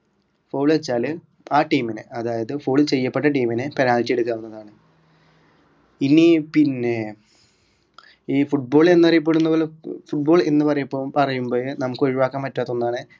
foul വെച്ചാൽ ആ team നെ അതായത് foul ചെയ്യപ്പെട്ട team നെ penalty എടുക്കാവുന്നതാണ് ഇനി പിന്നെ ഈ football എന്നറിയപ്പെടുന്നപോലെ football എന്ന്പറയുമ്പോ പറയുമ്പോഴെ നമുക്ക് ഒഴിവാക്കാൻ പറ്റാത്ത ഒന്നാണ്